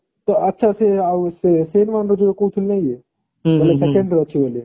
ହଁ ତ ଆଚ୍ଛା ସେ ଆଉ ସେ ସେନୱାନ ର ଯାଉ କହୁଥିଲି ନାଇଁ କି ମାନେ second ରେ ଅଛି ବୋଲି